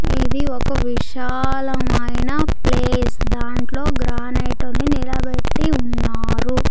ఇది ఒక విశాలమైన ప్లేస్ దాంట్లో గ్రానైట్ ని నిలబెట్టి ఉన్నారు.